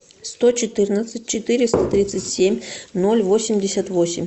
сто четырнадцать четыреста тридцать семь ноль восемьдесят восемь